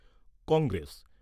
Congress